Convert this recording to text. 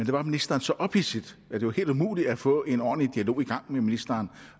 var ministeren så ophidset at det var helt umuligt at få en ordentlig dialog i gang med ministeren